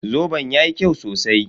Zoben yayi kyau sosai